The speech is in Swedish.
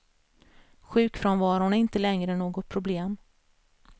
Sjukfrånvaron är inte längre något problem.